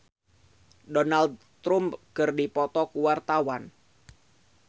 Donna Agnesia jeung Donald Trump keur dipoto ku wartawan